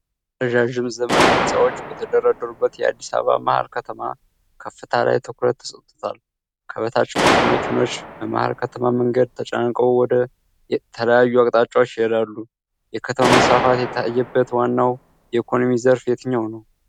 ረዣዥም ዘመናዊ ሕንፃዎች በተደረደሩበት የአዲስ አበባ መሀል ከተማ ከፍታ ላይ ትኩረት ተሰጥቶታል። ከበታች ብዙ መኪኖች በመሃል ከተማ መንገድ ተጨናንቀው ወደ ተለያዩ አቅጣጫዎች ይሄዳሉ። የከተማ መስፋፋት የታየበት ዋናው የኢኮኖሚ ዘርፍ የትኛው ነው?